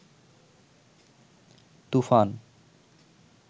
তুফান